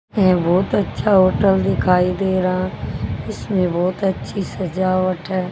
ये बहोत अच्छा होटल दिखाई दे रहा इसमें बहोत अच्छी सजावट है।